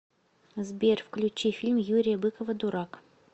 сбер включи фильм юрия быкова дурак